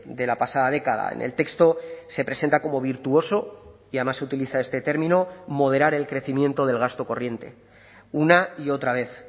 de la pasada década en el texto se presenta como virtuoso y además utiliza este término moderar el crecimiento del gasto corriente una y otra vez